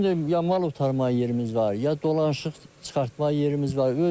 Bizim də ya mal otarmağa yerimiz var, ya dolanışıq çıxartmağa yerimiz var.